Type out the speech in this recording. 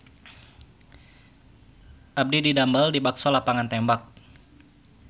Abdi didamel di Bakso Lapangan Tembak